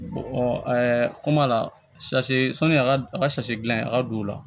ɛɛ kɔma la sɔni a ka a ka dilan a ka don o la